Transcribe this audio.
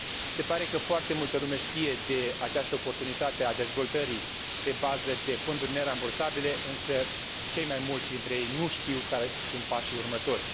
Se pare că foarte multă lume știe de această oportunitate a dezvoltării pe bază de fonduri nerambursabile, însă cei mai mulți dintre ei nu știu care sunt pașii următori.